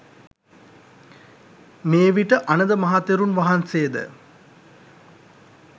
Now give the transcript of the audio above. මේවිට අනඳ මහ තෙරුන් වහන්සේ ද